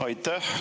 Aitäh!